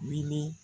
Miliyɔn